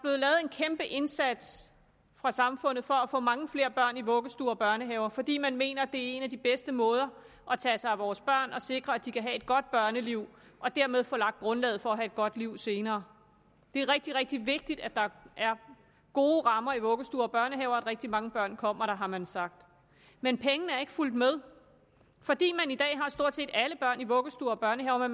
er indsats fra samfundets side for at få mange flere børn i vuggestuer og børnehaver fordi man mener at det er en af de bedste måder at tage sig af vores børn på og sikre at de kan have et godt børneliv og dermed få lagt grundlaget for at have et godt liv senere det er rigtig rigtig vigtigt at der er gode rammer i vuggestuer og børnehaver og at rigtig mange børn kommer der har man sagt men pengene er ikke fulgt med fordi man i dag har stort set alle børn i vuggestuer og børnehaver